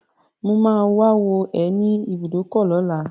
Mo máa wá wò ẹ́ ní ibùdókọ̀ lọ́la.